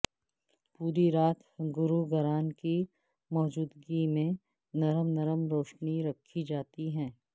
پورے رات گرو گران کی موجودگی میں نرم نرم روشنی رکھی جاتی ہے